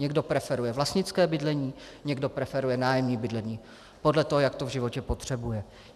Někdo preferuje vlastnické bydlení, někde preferuje nájemní bydlení podle toho, jak to v životě potřebuje.